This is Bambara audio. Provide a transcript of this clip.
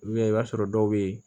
i b'a sɔrɔ dɔw bɛ yen